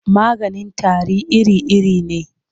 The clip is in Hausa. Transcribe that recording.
Maganin tari iri-iri ne.